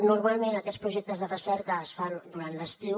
normalment aquests projectes de recerca es fan durant l’estiu